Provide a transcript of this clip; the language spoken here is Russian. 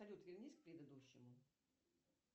салют вернись к предыдущему